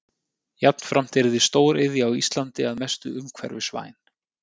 Jafnframt yrði stóriðja á Íslandi að mestu umhverfisvæn.